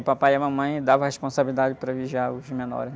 O papai e a mamãe davam a responsabilidade para vigiar os menores.